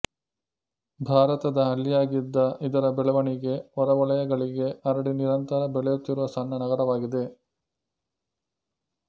ಭಾರತದ ಹಳ್ಳಿಯಾಗಿದ್ದ ಇದರ ಬೆಳವಣಿಗೆ ಹೊರವಲಯಗಳಿಗೆ ಹರಡಿ ನಿರಂತರ ಬೆಳೆಯುತ್ತಿರುವ ಸಣ್ಣ ನಗರವಾಗಿದೆ